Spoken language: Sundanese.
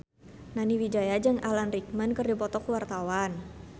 Nani Wijaya jeung Alan Rickman keur dipoto ku wartawan